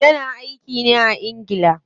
Ya na aiki ne a ingila.